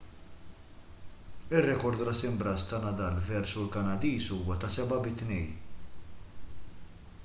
ir-rekord ras imb'ras ta' nadal versu l-kanadiż huwa 7-2